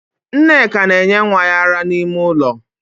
Nneka na enye nwa ya ara n'ime ụlọ